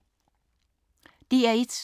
DR1